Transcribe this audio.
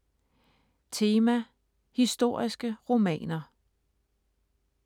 Tema: Historiske romaner